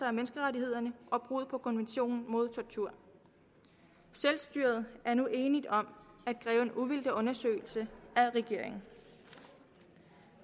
af menneskerettighederne og brud på konventionen mod tortur selvstyret er nu enigt om at kræve en uvildig undersøgelse af regeringen